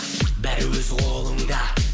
бәрі өз қолыңда